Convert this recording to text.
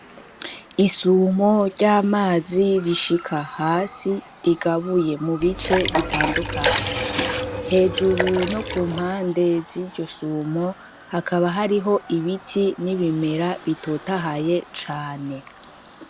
Isumo ry’amazi rishika hasi , rigabuye mu bice bitandukanye , hejuru no ku mpande z’iryo sumo hakaba hariho ibiti bimera bitotahaye cane .